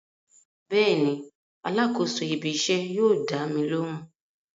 Bẹ́ẹ̀ni alákòóso ibí iṣẹ́ yóò dámi lóhùn